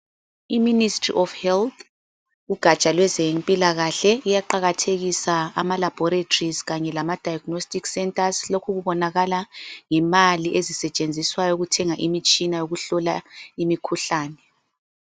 IMinistry of Health ugatsha lwezempilakahle, iyaqakathekisa ama laboratories kanye diagnostic centres. Lokho kubonakala ngemali ezisetshenziswayo ukuthenga imitshina yokuhlola imikhuhlane.